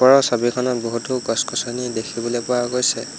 ওপৰৰ ছবিখনত বহুতো গছ-গছনি দেখিবলৈ পোৱা গৈছে।